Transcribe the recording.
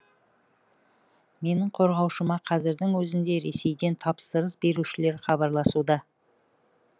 менің қорғаушыма қазірдің өзінде ресейден тапсырыс берушілер хабарласуда